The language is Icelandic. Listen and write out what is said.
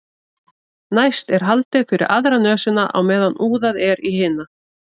næst er haldið fyrir aðra nösina á meðan úðað er í hina